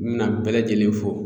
N bɛna bɛɛ lajɛlen fo